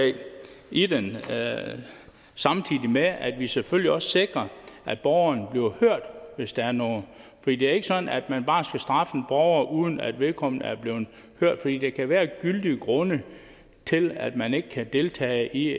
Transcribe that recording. i det samtidig med at det selvfølgelig også sikrer at borgeren bliver hørt hvis der er noget det er ikke sådan at man bare skal straffe en borger uden at vedkommende er blevet hørt fordi der kan være gyldige grunde til at man ikke kan deltage i